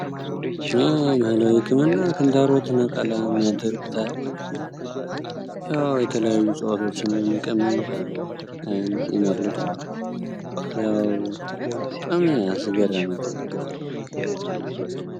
ባህላዊ ህክምና ክንታሮት ነቀላም ያደርጉታል ፣የተለያየ እፅዋቶችን በመቀመም ይነቅሉታል ያው በጣም አስገራሚ ጥበብ ነው።